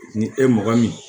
Ni e mɔgɔ min